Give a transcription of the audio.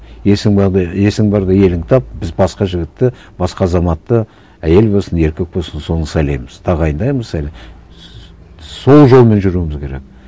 есің барда есің барда еліңді тап біз басқа жігітті басқа азаматты әйел болсын еркек болсын соны сайлаймыз тағайындаймыз әлі сол жолмен жүруіміз керек